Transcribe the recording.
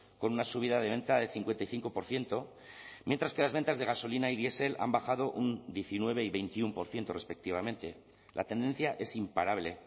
con una subida de venta de cincuenta y cinco por ciento mientras que las ventas de gasolina y diesel han bajado un diecinueve y veintiuno por ciento respectivamente la tendencia es imparable